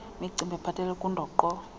imicimbi ephathelele kundoqo